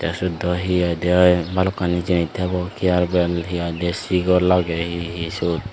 syot daw hi idya aae balokkani jinis tebo kearpen hi hoidey sigol agey hi hi siyot.